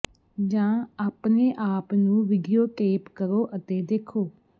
ਜਾਂ ਆਪਣੇ ਆਪ ਨੂੰ ਵਿਡੀਓ ਟੇਪ ਕਰੋ ਅਤੇ ਦੇਖੋ